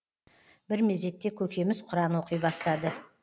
бір мезетте көкеміз құран оқи бастады